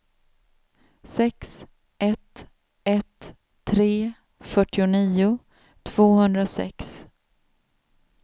sex ett ett tre fyrtionio tvåhundrasex